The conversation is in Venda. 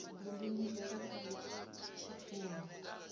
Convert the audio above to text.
bindu ḽi bvele phanḓa tshifhinga